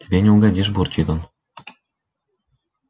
тебе не угодишь бурчит он